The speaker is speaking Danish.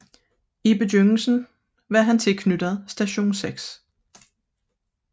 I begyndelsen var han tilknyttet Station 6